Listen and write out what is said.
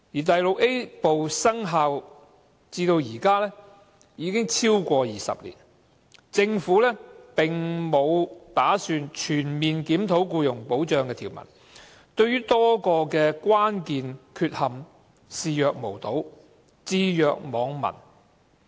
第 VIA 部生效至今，已超過20年，政府並沒有打算全面檢討僱傭保障的條文，對多個關鍵問題視若無睹，置若罔聞。